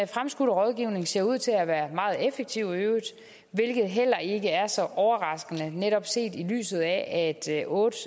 fremskudte rådgivning ser ud til at være meget effektiv hvilket heller ikke er så overraskende netop set i lyset af at otte